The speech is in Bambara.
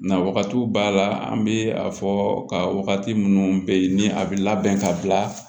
Na wagati b'a la an bɛ a fɔ ka wagati minnu bɛ yen ni a bɛ labɛn ka bila